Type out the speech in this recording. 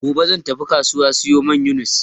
Gobe zan tafi kasuwa siyo mayonis.